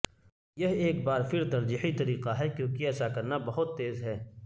یہ ایک بار پھر ترجیحی طریقہ ہے کیونکہ ایسا کرنا بہت تیز ہے